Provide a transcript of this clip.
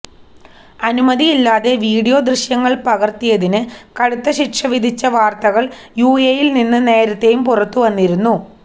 അനുമതിയില്ലാതെ വീഡിയോ ദൃശ്യങ്ങള് പകര്ത്തിയതിന് കടുത്ത ശിക്ഷ വിധിച്ച വാര്ത്തകള് യുഎഇയില് നിന്ന് നേരത്തെയും പുറത്തുവന്നിരുന്നു